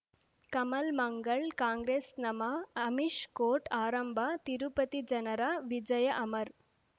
Kamal Mangal Congress ನಮಃ Amish court ಆರಂಭ ತಿರುಪತಿ ಜನರ ವಿಜಯ ಅಮರ್